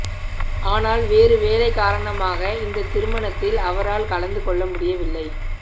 ஆனால் வேறு வேலை காரணமாக இந்த திருமணத்தில் அவரால் கலந்து கொள்ள முடியவில்லை